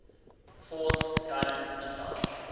force guided missiles